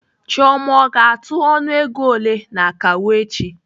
Chioma ọ ga-atụ ọnụego ole n'akawo echi?